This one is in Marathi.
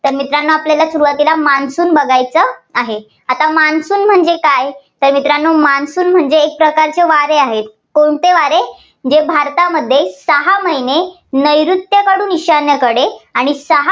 तर मित्रांनो आपल्याला सुरुवातीला monsoon बघायचं आहे. आता monsoon म्हणजे काय तर मित्रांनो monsoon म्हणजे एक प्रकारचे वारे आहे. कोणते वारे? जे भारतामध्ये सहा महिने नैऋत्येकडून ईशान्येकडे आणि सहा